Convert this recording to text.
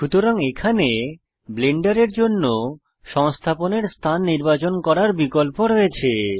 সুতরাং এখানে ব্লেন্ডারের জন্য সংস্থাপনের স্থান নির্বাচন করার বিকল্প রয়েছে